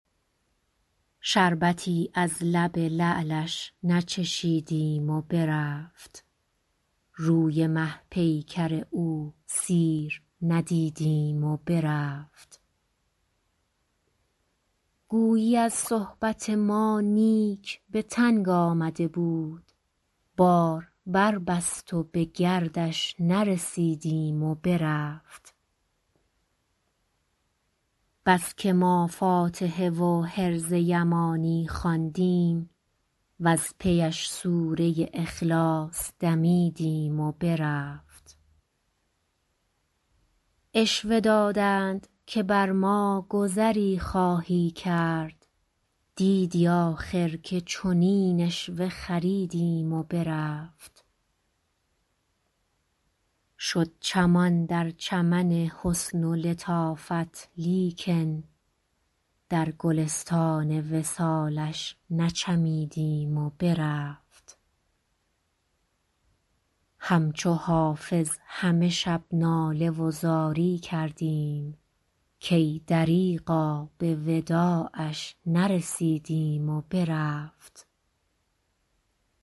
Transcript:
شربتی از لب لعلش نچشیدیم و برفت روی مه پیکر او سیر ندیدیم و برفت گویی از صحبت ما نیک به تنگ آمده بود بار بربست و به گردش نرسیدیم و برفت بس که ما فاتحه و حرز یمانی خواندیم وز پی اش سوره اخلاص دمیدیم و برفت عشوه دادند که بر ما گذری خواهی کرد دیدی آخر که چنین عشوه خریدیم و برفت شد چمان در چمن حسن و لطافت لیکن در گلستان وصالش نچمیدیم و برفت همچو حافظ همه شب ناله و زاری کردیم کای دریغا به وداعش نرسیدیم و برفت